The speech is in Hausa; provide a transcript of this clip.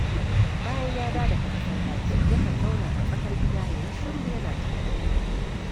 Bayan ya dawo daga masallaci, yakan zauna a tsakar gida ya yi shiru, yana tunani